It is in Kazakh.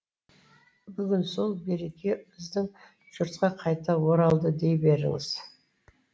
бүгін сол береке біздің жұртқа қайта оралды дей беріңіз